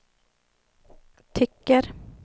tycker